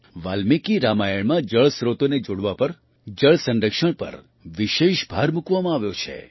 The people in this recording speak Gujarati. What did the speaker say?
વાલ્મીકિ રામાયણમાં જળ સ્ત્રોતોને જોડવા પર જળ સંરક્ષણ પર વિશેષ ભાર મૂકવામાં આવ્યો છે